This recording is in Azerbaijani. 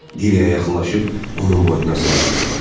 Diliyə yaxınlaşıb onun boynuna sarıldı.